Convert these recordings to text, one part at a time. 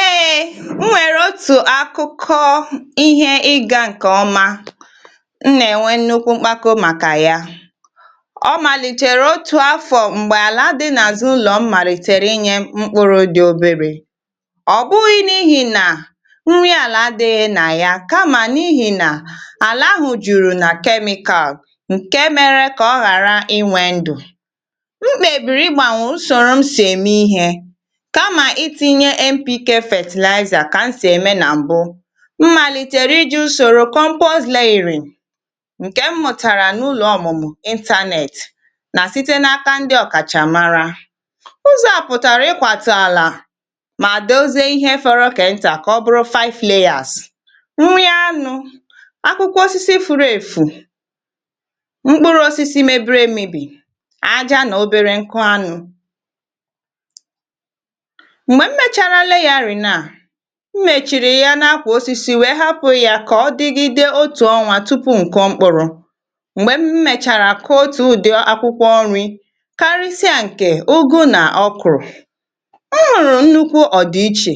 eėėėė m nwèrè otù akụkọ ihe ịgȧ ǹkè ọma m nà-ènwe nnukwu mkpako màkà ya ọ màlìchàrà otù afọ̀ m̀gbè àla dị n’àzụ ụlọ̀ m màlìtèrè inyė mkpụrụ̇ dị obėrė ọ̀ bụghị n’ihì nà nri àla dị nà ya kamà n’ihì nà àlà hụ jùrù nà kemikal ǹke mėrė kà ọ ghàra inwe ndù meetinye npikė fatịlaịza kà m si eme na mbụ mmalitere iji usoro kọ mbụ o sleighor oghere nke m mụtara n’ụlọ ọmụmụ intanetị na site n’aka ndị ọkachamara ụzọ apụtara ịkwata ala ma dozie ihe fọrọ kenya ka ọ bụrụ five leyàs nri anụ akwụkwọ osisi furu efu mkpụrụ osisi mebiri emibi aja na obere nkụ anụ mmèchìrì ya na-akwà osisi wèe hapụ̀ ya kà ọ dịgide otù ọnwȧ tupu ǹke o mkpụrụ̇ m̀gbè m mèchàrà kà otù ụ̀dị akwụkwọ nri̇ karịsịa ǹkè ogo nà ọ kụ̀rụ̀ nrù nnukwu ọ̀dịichè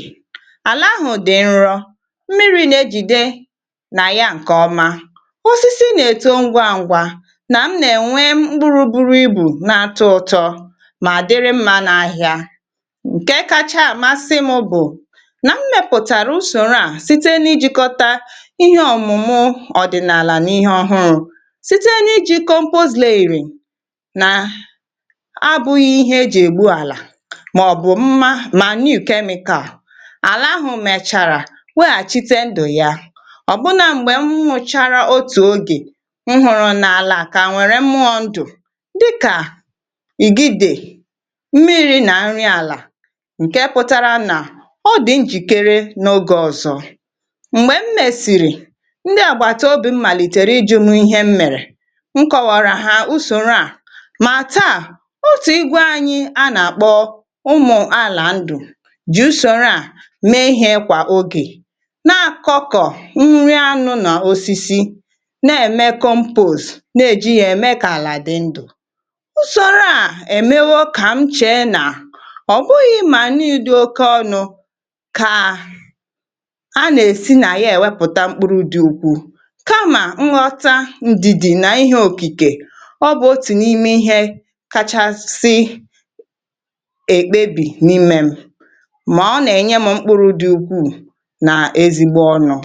àlà ahụ̀ dị̀ nrọ̇ mmiri̇ na-ejìde nà ya ǹkè ọma osisi na-eto ngwȧ ngwȧ nà m nà-ènwe mkpụrụ bụrụ ibù na-atọ ụ̇tọ nà m mẹpụ̀tàrà usòrò a site n’ijìkọta ihe ọ̀mụ̀mụ̀ ọ̀dị̀nàlà n’ihe ọ̀hụrụ̇ site n’ijìkọ mpụ zleìrì nà a bụ̇ghị̇ ihe ejì ègbu àlà mà ọ̀ bụ̀ mma ma niu̇ kemị̇kȧà àlà ahụ̀ mèchàrà weghàchite ndụ̀ ya ọ̀ bụrụ nà m̀gbè m hụ̇chȧrȧ otù ogè nhụrụ̇ n’àlà kà à nwèrè mụọ ndụ̀ dịkà ìgide mmiri̇ nà nrị àlà ọ dị njìkere n’ogè ọzọ̇ m̀gbè m mèsìrì ndị àgbàtà obi̇ mmàlìtèrè ijė mu ihe m mèrè nkọ̀wàrà ha usòrò a mà taa otù igwe anyị̇ a nàkpọ ụmụ̀ aàlà ndù jì usòrò a mee ihe kwà ogè na akọkọ̀ nri anụ̇ nà osisi na ème compose na èji yȧ ème kà àlà dị ndù usòrò a èmewe ka m chèe nà kaà a nà-èsi nà ihe èwepụ̀ta mkpụrụ̇ dị̇ ukwuù kamà nghọta ndidi nà ihe òkìkè ọ bụ̀ otì n’ime ihė kachasị èkpebì n’imėm mà ọ nà-ènye m mkpụrụ dị̇ ukwuù nà-ezigbo ọnụ̇